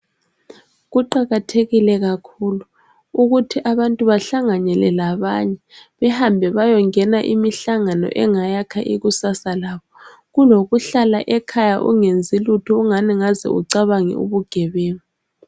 Kuqakathekile kakhulu ukuthi abantu bahlanganyele labanye bahambe bayengena imihlangano engakha ikusasa labo kulokuhlala ekhaya ungenzi lutho ingani ungaze ucabange ubugebenga.